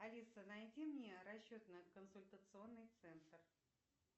алиса найди мне расчетный консультационный центр